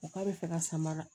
O k'a bɛ fɛ ka samara